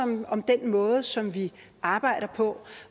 om den måde som vi arbejder på